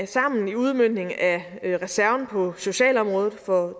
sammen i udmøntningen af reserven på socialområdet for